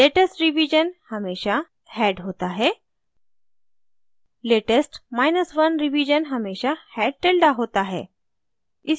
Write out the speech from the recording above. latest नवीनतम revision हमेशा head होता है latest1 नवीनतम से पहला रिवीजन हमेशा head tilde होता है